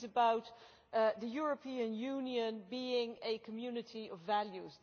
This is about the European Union being a community of values.